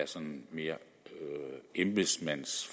sådan mere er et embedsmands